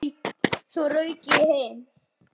Svo rauk ég heim.